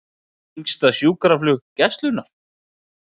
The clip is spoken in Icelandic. Lengsta sjúkraflug Gæslunnar